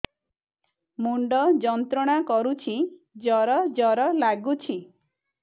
ମୁଣ୍ଡ ଯନ୍ତ୍ରଣା କରୁଛି ଜର ଜର ଲାଗୁଛି